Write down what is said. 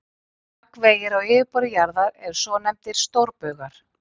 Gagnvegir á yfirborði jarðar eru svonefndir stórbaugar.